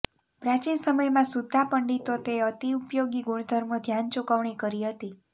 પ્રાચીન સમયમાં સુદ્ધાં પંડિતો તે અતિ ઉપયોગી ગુણધર્મો ધ્યાન ચૂકવણી કરી હતી